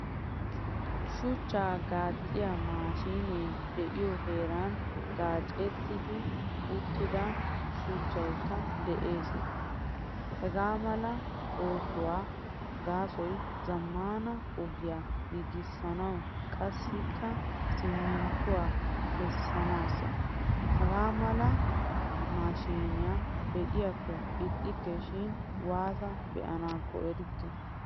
Shuchcha gacciyaa mashinee deiyo heeran gaccettidi uttida shuchchaykka de'ees. Hagaamala oosuwaa gaasoy zamaana ogiyaa giigisanawu qassikka siminttuwaakka kesanasa. Hagaamala mashiniyaa be'iyako ixxikke shin waata beanakko erikke.